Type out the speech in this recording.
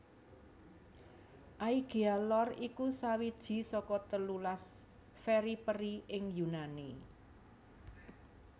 Aegea Lor iku sawiji saka telulas periphery ing Yunani